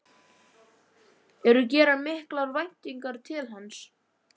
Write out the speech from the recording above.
Eru gerar miklar væntingar til hans?